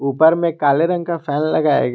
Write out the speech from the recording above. ऊपर में काले रंग का फैन लगाया गया--